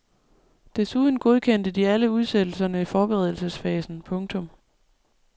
Desuden godkendte de alle udsættelserne i forberedelsesfasen. punktum